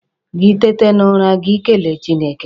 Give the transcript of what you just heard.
Gị tete n'ụra, gị kele Chineke.